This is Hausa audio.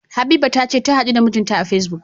Habiba tace tahadu da mijinta a Facebook.